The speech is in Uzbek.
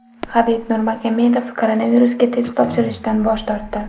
Habib Nurmagomedov koronavirusga test topshirishdan bosh tortdi.